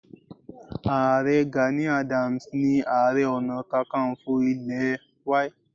Ààrẹ Gani Adams ni Ààrẹ Ọ̀nàkakanfò ilẹ̀ Y